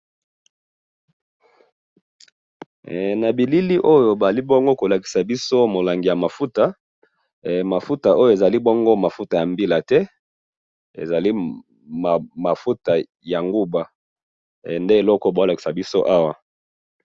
he na bilili oyo bazali bongo kolakisa biso mulangi ya mafuta he mafutaoyo ezali mafuta ya mbila te ezali bongo mafuta ya nguba nde eloko bazo lakisa biso awa